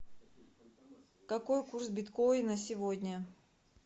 какой курс биткоина сегодня